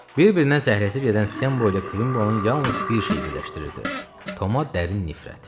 Bir-birinə zəhləsi gedən Sem Boyla Kvimbonu yalnız bir şey birləşdirirdi: Toma dərin nifrət.